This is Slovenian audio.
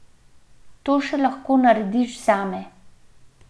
To še lahko narediš zame.